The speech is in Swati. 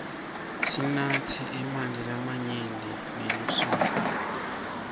sinatse emanti lamanyenti ngelisuku